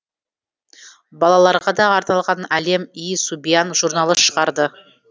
балаларға да арналған алем и субьян журналы шығарды